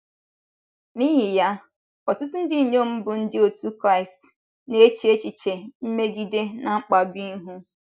N’ihi ya, ọtụtụ ndị inyom bụ́ ndị otú Kraịst na - eche echiche mmegide na mkpagbu ihu.